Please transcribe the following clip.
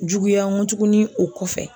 Juguya ŋo tugunni o kɔfɛ